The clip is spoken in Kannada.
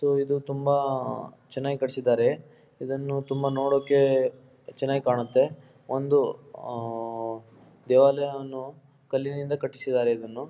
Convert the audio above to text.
ಇದು ತುಂಬ ಅಹ್ ಅಹ್ ಚೆನ್ನಾಗಿ ಕಟಿಸಿದ್ದಾರೆ ಇದನ್ನು ತುಂಬ ನೋಡಕ್ಕೆ ಚೆನ್ನಾಗಿ ಕಾಣುತೇ ಒಂದು ಅಹ್ ಅಹ್ ಅಹ್ ದೇವಾಲಯನ್ನು ಕಲ್ಲಿನಿಂದ ಕಟ್ಟಿಸಿದ್ದಾರೆ.